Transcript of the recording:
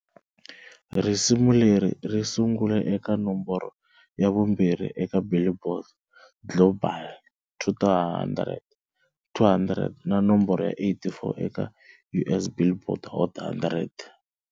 Risimu leri ri sungule eka nomboro ya vumbirhi eka"Billboard" Global 200 na nomboro ya 84 eka US"Billboard" Hot 100.